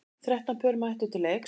Þrettán pör mættu til leiks.